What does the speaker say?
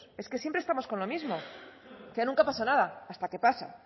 es que siempre estamos con lo mismo ya nunca pasa nada hasta que pasa